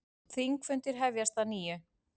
Þingfundir hefjast að nýju